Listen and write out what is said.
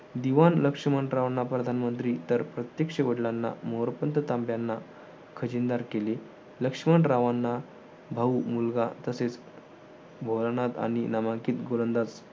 दिवान लक्ष्मणरावांना प्रधानमंत्री तर प्रत्यक्ष वडलांना मोरपंथ तांब्याना खजिनदार केले. लक्ष्मणरावांना भाऊ मुलगा तसेच आणि नामांकित गोलंदाज